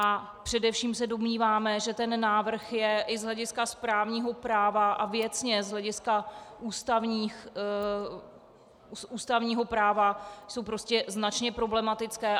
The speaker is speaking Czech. A především se domníváme, že ten návrh je i z hlediska správního práva a věcně z hlediska ústavního práva, jsou prostě značně problematické.